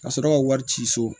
Ka sɔrɔ ka wari ci so